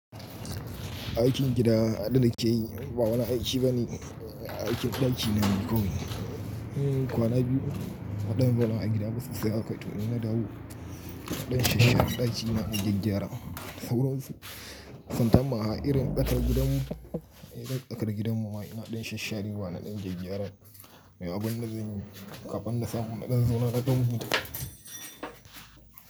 Aikin gida abun da na ke yi ba wani aiki ba ne, aikin ɗaki na ne kawai. Kwana biyu waɗannan ba na yi gida ba sosai haka toh ina dawo. Naɗan shashare ɗaki na gyagyara sauron su. Santanmaha irin sakar gidan mu, eh sakar gidan muma ina na dan shasharewa na ɗan gyagyara. Me abun da zan yi kafin na samu na dan zauna na ɗan huta?